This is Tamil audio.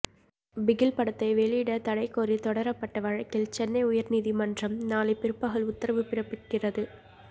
பிகில் படத்தை வெளியிட தடை கோரி தொடரப்பட்ட வழக்கில் சென்னை உயர்நீதிமன்றம் நாளை பிற்பகல் உத்தரவு பிறப்பிக்கிறது